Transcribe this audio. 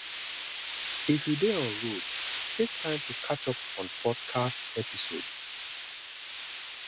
if you dey on road take time to catch up on podcast episodes